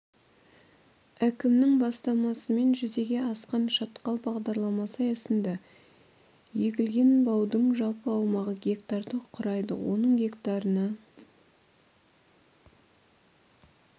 әкімінің бастамасымен жүзеге асқан шатқал бағдарламасы аясында егілген баудың жалпы аумағы гектарды құрайды оның гектарына